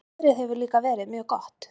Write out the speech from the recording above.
Veðrið hefur líka verið mjög gott